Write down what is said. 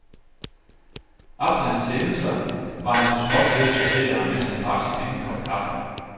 Aftenens hændelser var han så småt ved at sortere, mens han drak sin anden kop kaffe.